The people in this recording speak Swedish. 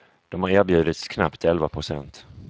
De har erbjudits knappt elva procent.